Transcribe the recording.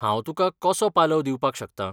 हांव तुका कसो पालव दिवपाक शकतां?